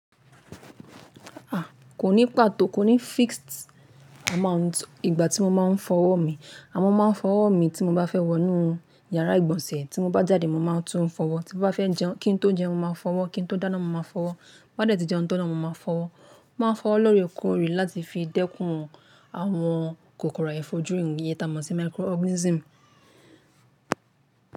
A! Kò ní pàtó, kò ní fixed amount ìgbà tí mo máa ń fọwọ́ mi. Amo máa ń fọwọ́ mi tí mo bá fẹ́ wọnú yàrá ìgbọ̀nsẹ̀, tí mo bá jáde mo máa tún ń fọwọ́, tí mo bá fẹ́ jẹun kí ń tó jẹun mo máa fọwọ́, kí ń tó dáná mo máa fọwọ́, bá dẹ̀ tí jẹun tán naa mo máa fọwọ́. Máa fọwọ́ lóorekoòre láti fi dẹ́kun àwọn kòkòrò àìfojúìyí, iyen tà á mọ̀ sí microorganism.